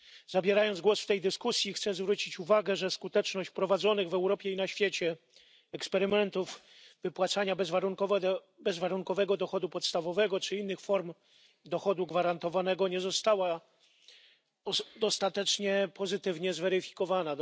Zabierając głos w tej dyskusji, chcę zwrócić uwagę, że skuteczność prowadzonych w Europie i na świecie eksperymentów polegających na wypłacaniu bezwarunkowego dochodu podstawowego czy innych form dochodu gwarantowanego nie została do tej pory dostatecznie pozytywnie zweryfikowana.